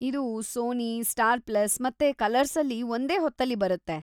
ಇದು Sony, Star Plus ಮತ್ತೆ ಕಲರ್ಸಲ್ಲಿ ಒಂದೇ ಹೊತ್ತಲ್ಲಿ ಬರತ್ತೆ.